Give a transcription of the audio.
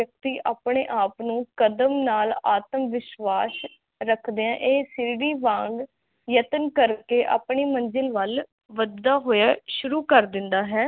ਵਿਅਕਤੀ ਆਪਣੇ ਆਪ ਨੂੰ ਕਦਮ ਨਾਲ ਆਤਮਵਿਸ਼ਵਾਸ ਰਖਦੀਆ ਇਕ ਸੀੜੀ ਵਾਂਗ ਯਤਨ ਕਰਕੇ ਆਪਣੀ ਮੰਜਿਲ ਵੱਲ ਵਧਦਾ ਹੋਇਆ ਸ਼ੁਰੂ ਕਰ ਦਿੰਦਾ ਹੇ